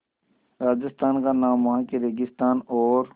राजस्थान का नाम वहाँ के रेगिस्तान और